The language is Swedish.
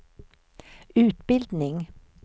utbildning